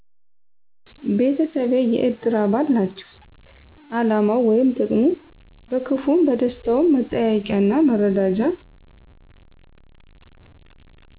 ቤተሰቤ የእድር አባል ናቸዉ አላማዉ ወይም ጥቅሙ በክፍዉም በደስታዉም መጠያየቂያና መረዳጃ